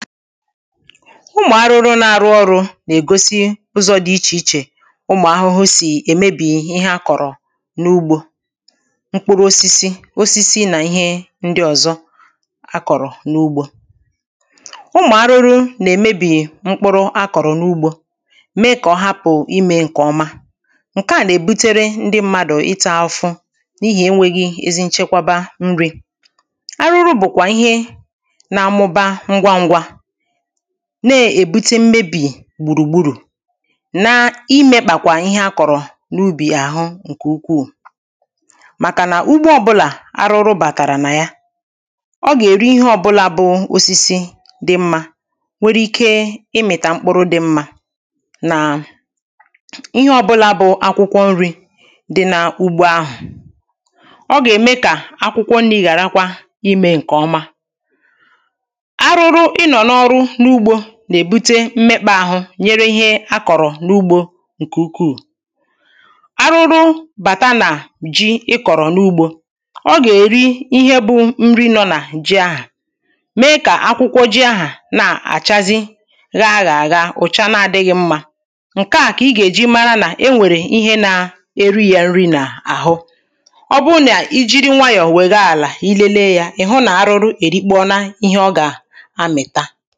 ụmụ̀ arụrụ na-arụ ọrụ̇ nà-ègosi ụzọ̇ dị̇ ichè ichè ụmụ̀ ahụhụ sì èmebì ihe a kọ̀rọ̀ n’ugbȯ, mkpụrụ osisi osisi nà ihe ndị ọ̀zọ a kọ̀rọ̀ n’ugbȯ ụmụ̀ arụrụ nà-èmebì mkpụrụ a kọ̀rọ̀ n’ugbȯ mee kà ọhapụ̀ imė ǹkè ọma ǹkeà nà-èbutere ndị mmadụ̀ ịtȧ afụ n’ihì enwėghi̇ ezi nchekwaba nri̇ arụrụ bùkwà ihe na-amụba ngwa ngwa. na-èbute mmebì gbùrùgbùrù na-imė kpàkwà ihe a kọ̀rọ̀ n’ubì àhụ ǹkè ukwuù màkà nà ugbo ọbụlà arụrụ bàtàrà nà ya ọ gà-èri ihe ọbụlà bụ osisi dị mmȧ nwere ike ị mịtà mkpụrụ dị mmȧ nà um ihe ọbụlà bụ akwụkwọ nri̇ dị n’ugbo ahụ̀ ọ gà-ème kà akwụkwọ nri̇ ghàrakwa imė ǹkè ọma arụrụ inọ n'a ọrụ nugbo nà-èbute mmekpȧ àhụ nyere ihe a kọ̀rọ̀ n’ugbȯ ǹkè ukwuù, arụrụ bàta nà ji ị kọ̀rọ̀ n’ugbȯ ọ gà-èri ihe bụ nri nọ nà ji ahà mee kà akwụkwọ ji ahà na-àchazi ghaa ahà agha ụ̀cha na-adịghị̇ mmȧ ǹke à kà ị gà-èji mara nà e nwèrè ihe na-eri yȧ nri nà àhụ ọ bụrụ nà ijiri nwayọ̀ wèe gaa àlà i lelee yȧ ị̀ hụ nà arụrụ èrikpa ona ihe ọ gà-amị̀ta